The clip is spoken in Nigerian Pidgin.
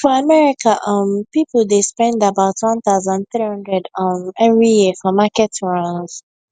for america um people dey spend about one thousand three hundred um every year for market runs